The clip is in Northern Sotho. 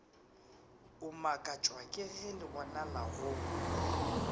o makatšwa kege lebonala go